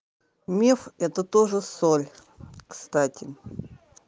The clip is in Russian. миф это тоже соль кстати